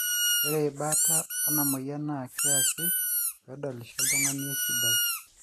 ore baata enamoyian naa keasi peedolisho oltungani esidai